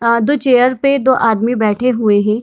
अ दो चेयर पे दो आदमी बैठे हुए हें।